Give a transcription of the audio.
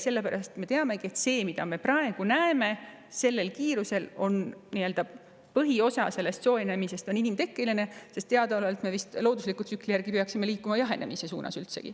Sellepärast me teamegi, et sellest, mida me praegu näeme, sellise kiirusega soojenemisest on põhiosa inimtekkeline, sest loodusliku tsükli järgi peaks teadaolevalt liikuma üldsegi jahenemise suunas.